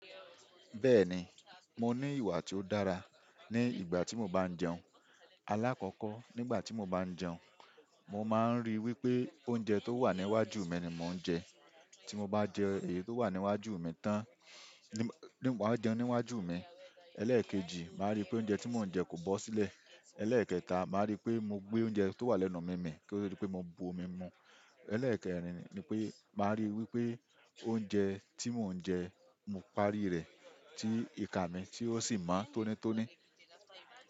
Bẹ́ẹ̀ni, mo ní ìwà tí ó dára ní ìgbà tí mo bá jẹun. Alákọ̀ọ́kọ́, nígbà tí mo bá jẹun, mo máa ń ríi wípé oúnjẹ tó wà níwájú mi ni mò ń jẹ. Tí mo bá jẹ èyí tó wà níwájú mi tán, ni mo máa jẹun níwájú mi. Ẹlẹ́ẹ̀kejì, màá ríi pé oúnjẹ tí mò ń jẹ kò bó sílẹ̀. Ẹlẹ́ẹ̀kẹta, màá ríi pé mo gbé oúnjẹ tó wà lẹ́nu mi mì kí ó di pé mo bu omi mu. Ẹlẹ́ẹ̀kẹ́rin ni pé, màá rí i wípé oúnjẹ tí mò ń jẹ, mo parí rẹ̀ tí ìka mi tí ó sì mo on tónítóní.